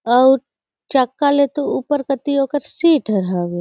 अऊ चक्का ल तो ऊपर कोति ओकर सीट हर हवे।